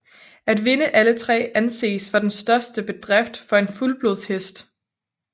At vinde alle tre anses for den største bedrift for en fuldblodshest